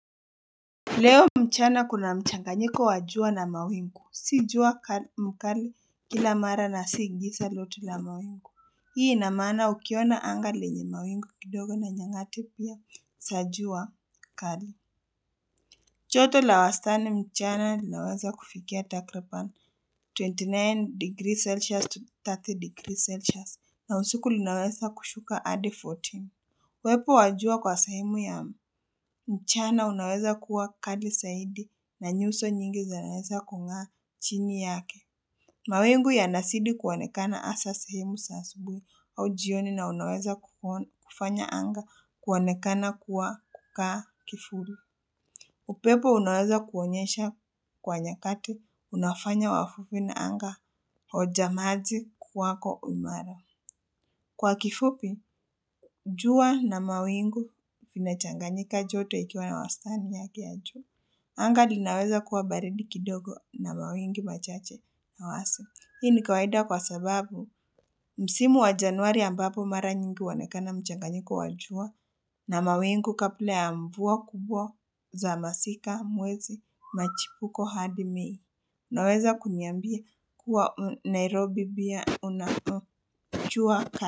Leo mchana kuna mchanganyiko wa jua na mawingu si jua mkali kila mara na si giza lote la mawingu hii ina maana ukiona anga lenye mawingu kidogo na nyangati pia za jua kali joto la wastani mchana linaweza kufikia takribani 29 degrees celsius to 30 degrees celsius na usiku linaweza kushuka hadi 14 uwepo wa jua kwa sehemu ya mchana unaweza kuwa kali zaidi na nyuso nyingi zinaweza kung'aa chini yake. Mawingu yanazidi kuonekana hasa sehemu za asubuhi au jioni na unaweza kufanya anga kuonekana kuwa kama kivuli. Upepo unaweza kuonyesha kwa nyakati unafanya wavuvi na anga hojamaji kwako umara. Kwa kifupi, jua na mawingu vinachanganyika joto ikiwa ya wastani yake ya juu. Anga linaweza kuwa baridi kidogo na mawingu machache ya wazi. Hii ni kawaida kwa sababu msimu wa Januari ambapo mara nyingi huonekana mchanganyiko wa jua na mawingu kabla ya mvua kubwa za masika mwezi machipuko hadi Mei. Naweza kuniambia kuwa Nairobi pia unakojua.